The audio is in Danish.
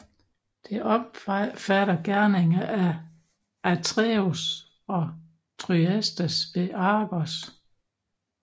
Det omfatter gerninger af Atreus og Thyestes ved Argos